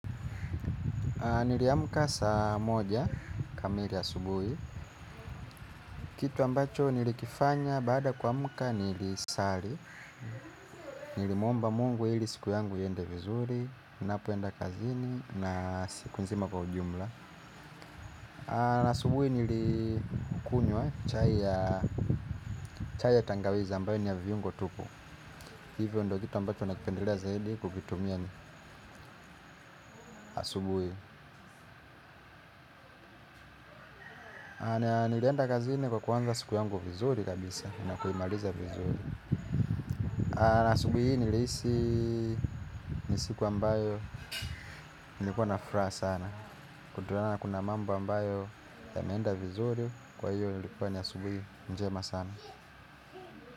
Niliamka saa moja kamili asubuhi. Kitu ambacho nilikifanya baada ya kuamka nilisali. Nilimuomba mungu ili siku yangu iende vizuri. Napoenda kazini na siku nzima kwa ujumla. Asubuhi nilikunywa chai ya tangawizi ambayo ni ya viungo tupu. Hivyo ndo vitu ambavyo navipendelea zaidi kuvitumia asubuhi. Na nilienda kazini kwa kuanza siku yangu vizuri kabisa na kuimaliza vizuri. Na asubuhi hii nilihisi nisiku ambayo nilikuwa nafuraha sana. Kutulana kuna mambo ambayo yameenda vizuri. Kwa hiyo ilikuwa asubuhi njema sana.